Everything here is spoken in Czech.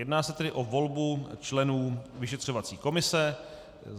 Jedná se tedy o volbu členů vyšetřovací komise.